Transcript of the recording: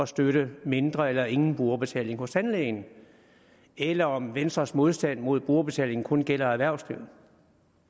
støtte mindre eller ingen brugerbetaling hos tandlægen eller om venstres modstand mod brugerbetaling kun gælder erhvervslivet